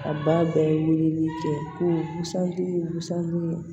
A ba bɛɛ ye weleli kɛ ko busandiya ye busan ye